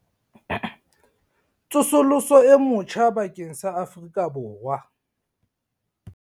Tsosoloso e motjheng bakeng sa Afrika Borwa